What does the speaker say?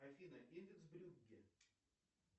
афина индекс брюгге